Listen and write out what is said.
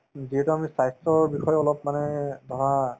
যিহেতু আমি স্ৱাস্থ্যৰ বিষয়ে অলপ মানে ধৰা